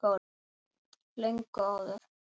Löngu áður.